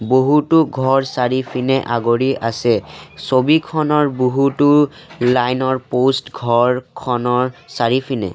বহুতো ঘৰ চাৰিফিনে আগুৰি আছে ছবিখনৰ বহুতো লাইন ৰ প'ষ্ট ঘৰখনৰ চাৰিফিনে --